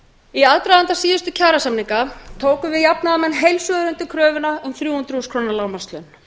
í aðdraganda síðustu kjarasamninga tókum við jafnaðarmenn heils hugar undir kröfuna um þrjú hundruð þúsund króna lágmarkslaun